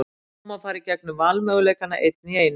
Nú má fara gegnum valmöguleikana, einn í einu.